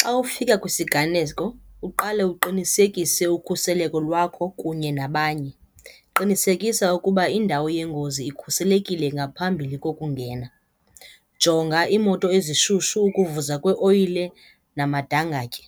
Xa ufika kwisiganeko uqale uqinisekise ukhuseleko lwakho kunye nabanye. Qinisekisa ukuba indawo yengozi ikhuselekile ngaphambili kokungena. Jonga iimoto ezishushu, ukuvuza kweoyile namadangatye.